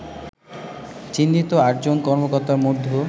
চিহ্নিত আটজন কর্মকর্তার মধ্য